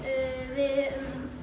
við